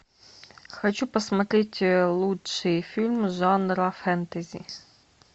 хочу посмотреть лучшие фильмы жанра фэнтези